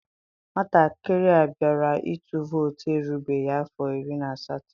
Nwatakịrị a bịara ịtụ vootu erubeghị afọ iri na asatọ.